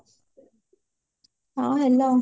ହଁ hello